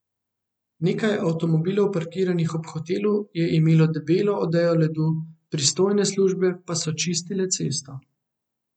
Nekaj avtomobilov parkiranih ob hotelu je imelo debelo odejo ledu, pristojne službe pa so čistile cesto.